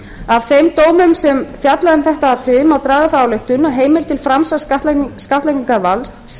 af þeim dómum sem fjalla um þetta atriði má draga þá ályktun að heimild til framsals skattlagningarvalds